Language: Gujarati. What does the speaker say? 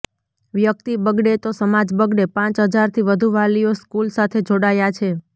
વ્યકિત બગડે તો સમાજ બગડે પાંચ હજારથી વધુ વાલીઓ સ્કુલ સાથે જોડાયા છે